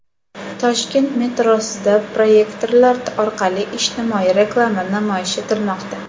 Toshkent metrosida proyektorlar orqali ijtimoiy reklama namoyish etilmoqda.